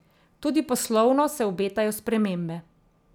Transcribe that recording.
Tudi poslovno se obetajo spremembe.